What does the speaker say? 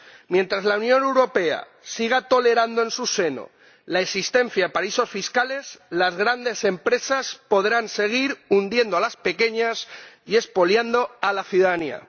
Mientras la Unión Europea siga tolerando en su seno la existencia de paraísos fiscales, las grandes empresas podrán seguir hundiendo a las pequeñas y expoliando a la ciudadanía.